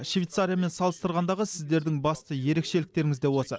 швейцариямен салыстырғандағы сіздердің басты ерекшеліктеріңіз де осы